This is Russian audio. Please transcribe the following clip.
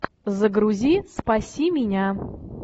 загрузи спаси меня